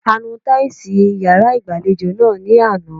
A nu táìsì yàrá ìgbàlejò náà ní àná.